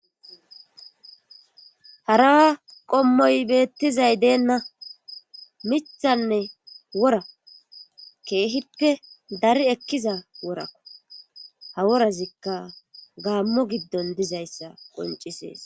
harawa qommoy beettizay deenna mithanne wora keehippe dari ekkiza woraku ha worazikka gaammo giddon dizayssa qoncisees